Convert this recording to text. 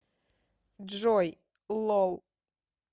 джой лол